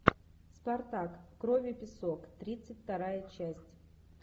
спартак кровь и песок тридцать вторая часть